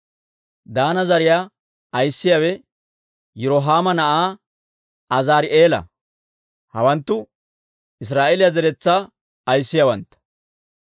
Daana zariyaa ayissiyaawe Yirohaama na'aa Azaari'eela. Hawanttu Israa'eeliyaa zeretsaa ayissiyaawantta.